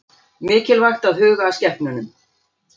Mikilvægt að huga að skepnunum